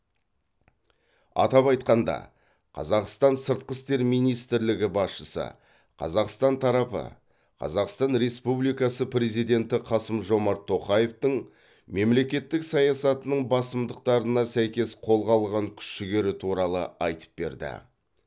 атап айтқанда қазақстан сыртқы істер министрлігі басшысы қазақстан тарапы қазақстан республикасы президенті қасым жомарт тоқаевтың мемлекеттік саясатының басымдықтарына сәйкес қолға алған күш жігері туралы айтып берді